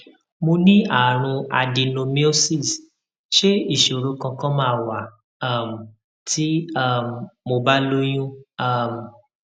mo ní àrùn adenomyosis ṣé isoro kankan ma wa um ti um mo ba lóyún um